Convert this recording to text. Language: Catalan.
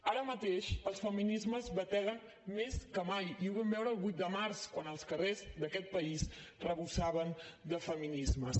ara mateix els feminismes bateguen més que mai i ho vam veure el vuit de març quan els carrers d’aquest país vessaven de feminismes